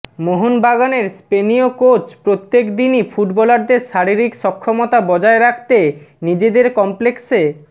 মোহনবাগানের স্পেনীয় কোচ প্রত্যেক দিনই ফুটবলারদের শারীরিক সক্ষমতা বজায় রাখতে নিজেদের কমপ্লেক্সে